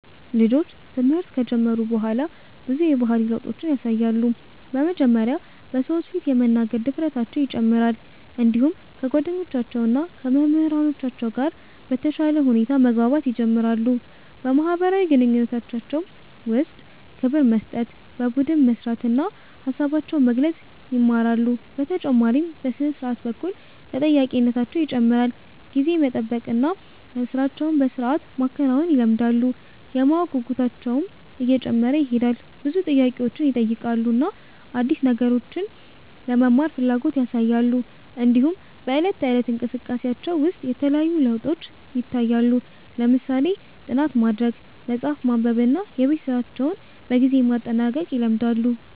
ልጆች ትምህርት ከጀመሩ በኋላ ብዙ የባህሪ ለውጦችን ያሳያሉ። በመጀመሪያ በሰዎች ፊት የመናገር ድፍረታቸው ይጨምራል፣ እንዲሁም ከጓደኞቻቸው እና ከመምህራኖቻቸው ጋር በተሻለ ሁኔታ መግባባት ይጀምራሉ። በማህበራዊ ግንኙነታቸው ውስጥ ክብር መስጠት፣ በቡድን መስራት እና ሀሳባቸውን መግለጽ ይማራሉ። በተጨማሪም በሥነ-ስርዓት በኩል ተጠያቂነታቸው ይጨምራል፣ ጊዜን መጠበቅ እና ሥራቸውን በሥርዓት ማከናወን ይለምዳሉ። የማወቅ ጉጉታቸውም እየጨመረ ይሄዳል፣ ብዙ ጥያቄዎችን ይጠይቃሉ እና አዲስ ነገሮችን ለመማር ፍላጎት ያሳያሉ። እንዲሁም በዕለት ተዕለት እንቅስቃሴያቸው ውስጥ የተለያዩ ለውጦች ይታያሉ፣ ለምሳሌ ጥናት ማድረግ፣ መጽሐፍ ማንበብ እና የቤት ስራቸውን በጊዜ ማጠናቀቅ ይለምዳሉ።